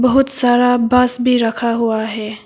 बहुत सारा बास भी रखा हुआ हैं।